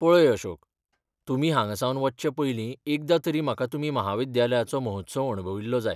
पळय अशोक, तुमी हांगासावन वचचें पयली एकदां तरी म्हाका तुमी म्हाविद्यालयचो महोत्सव अणभविल्लो जाय.